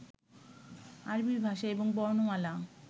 আরবী ভাষা এবং বর্ণমালা